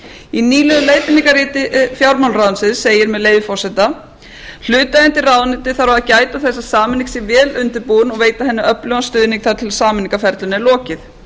í nýlegu leiðbeiningarriti fjármálaráðuneytisins segir með leyfi forseta hlutaðeigandi ráðuneyti þarf að gæta þess að sameining sé vel undirbúin og veita henni öflugan stuðning þar til sameiningarferlinu er lokið